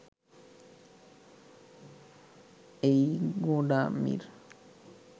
এই গোঁড়ামির